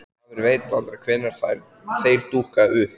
Maður veit aldrei hvenær þeir dúkka upp.